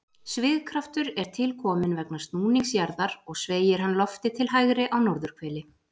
Svigkraftur er til kominn vegna snúnings jarðar og sveigir hann loftið til hægri á norðurhveli.